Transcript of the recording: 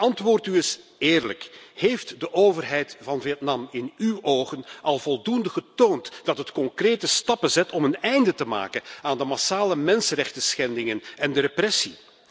Antwoordt u eens eerlijk heeft de overheid van Vietnam in uw ogen al voldoende getoond dat het concrete stappen zet om een einde te maken aan de massale mensenrechtenschendingen en de repressie?